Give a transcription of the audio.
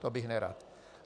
To bych nerad.